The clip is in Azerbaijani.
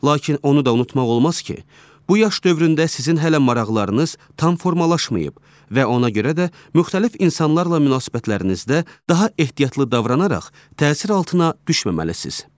Lakin onu da unutmaq olmaz ki, bu yaş dövründə sizin hələ maraqlarınız tam formalaşmayıb və ona görə də müxtəlif insanlarla münasibətlərinizdə daha ehtiyatlı davranaraq təsir altına düşməməlisiniz.